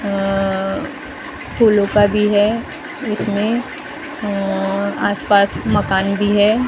उम्म फुलों का भी है इसमें अम्म आसपास मकान भी है ।